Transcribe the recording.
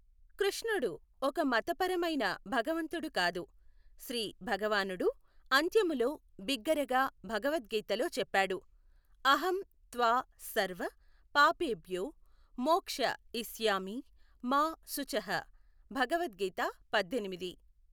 కృష్ణుడు ఒక మతపరమైన భగవంతుడు కాదు. శ్రీ భగవానుడు అంత్యములో బిగ్గరగా భగవద్గీతలో చెప్పాడు, అహం త్వాసర్వ పాపేభ్యో మోక్ష యిష్యామి మా శుచః. భగవత్ గీత పద్దెనిమిది.